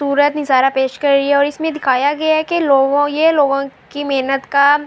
اشارہ پیش کر رہی ہےاور اسمے دکھایا گیا ہے کی لوگو یہ لوگو کی محنت کا--